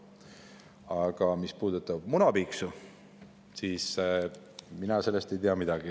Aga mis puudutab munapiiksu, siis sellest ei tea mina midagi.